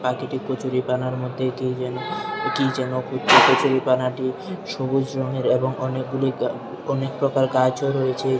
পাখিটি কচুরিপানার মধ্যে কি যেন কি যেন খুঁজছে কচুরিপানাটি সবুজ রঙের এবং অনেকগুলি অনেক প্রকার গাছও রয়েছে।